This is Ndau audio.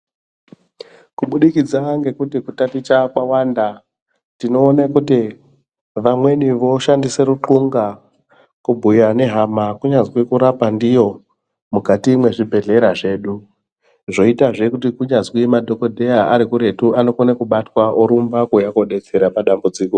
Kubudikidza ngekuti kutaticha kwawanda tinoona kuti vamweni voshandisa runxunga, kubhuya nehama kunyazwi kurapa ndiyo mukati mwezvibhedhlera zvedu, zvoyitazve kuti kunyazwi madhokodheya arikuretu anokona kubatwa orumba kuuya kodetsera padambudziko.